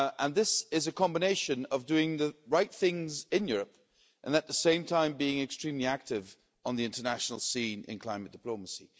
This is a combination of doing the right things in Europe and, at the same time, being extremely active on the international scene in climate diplomacy.